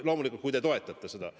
Loomulikult, kui te toetate seda.